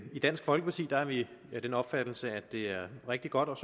i dansk folkeparti er vi af den opfattelse at det er rigtig godt og